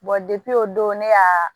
depi o don ne ka